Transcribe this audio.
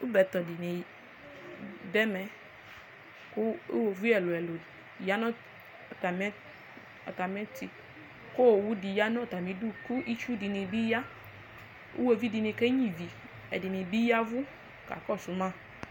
ɔbɛtɔ di ni do ɛmɛ kò uwoviu ɛlu ɛlu ya no atamiɛto k'owu di ya no atami du kò itsu di bi ya uwoviu di ni kenyua ivi ɛdini bi yavu ka kɔsu ma